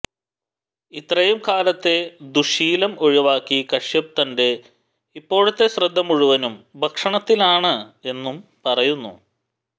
ഇത്രയും കാലത്തെ ദുശ്ശീലം ഒഴിവാക്കി കശ്യപ് തന്റെ ഇപ്പോഴത്തെ ശ്രദ്ധ മുഴുവനും ഭക്ഷണത്തിലാണ് എന്നും പറയുന്നു